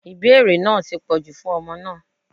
Ìbéèrè náà ti pọ̀jù fún ọmọ náà.